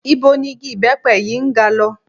Ibo ni igi ìbẹ́pẹ yìí ń ga lọ?